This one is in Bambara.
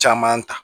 Caman ta